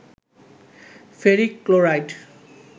ferric chloride